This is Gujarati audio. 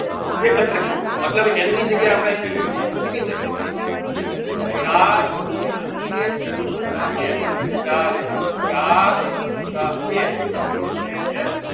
એક જ ત્રિકોણ છે મતલબ n ની જગ્યાએ આપડે અહિયાં જો એક મૂકી દઈ તો ચાર ગુનીયા એક વત્તા એક એટલે ચાર એકુ ચાર વત્તા એક એટલેકે